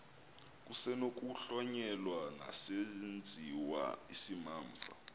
kusenokuhlonyelwa nesesenziwa isimamva